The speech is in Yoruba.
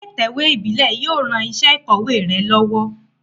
Ilé ìtẹ̀wé ìbílé yio ran isé ìkòwé re lówó